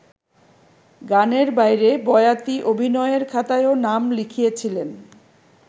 গানের বাইরে বয়াতি অভিনয়ের খাতায়ও নাম লিখিয়েছিলেন।